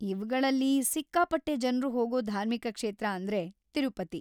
ಇವ್ಗಳಲ್ಲಿ ಸಿಕ್ಕಾಪಟ್ಟೆ ಜನ್ರು ಹೋಗೋ ಧಾರ್ಮಿಕ ಕ್ಷೇತ್ರ ಅಂದ್ರೆ ತಿರುಪತಿ.